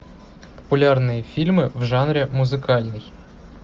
популярные фильмы в жанре музыкальный